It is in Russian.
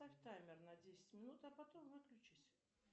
поставь таймер на десять минут а потом выключись